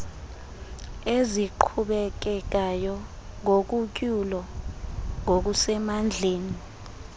eziqhubekekayo nogutyulo ngokusemandleni